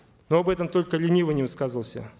ну об этом только ленивый не высказывался